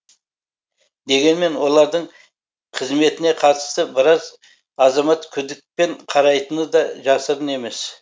дегенмен олардың қызметіне қатысты біраз азамат күдікпен қарайтыны да жасырын емес